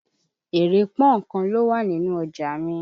Èrè pọ́nkan ló wà nínù ọjà mi.